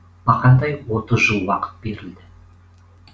бақандай отыз жыл уақыт берілді